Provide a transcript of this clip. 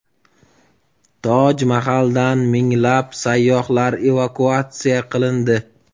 Toj Mahaldan minglab sayyohlar evakuatsiya qilindi.